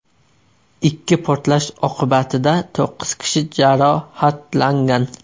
Ikki portlash oqibatida to‘qqiz kishi jarohatlangan.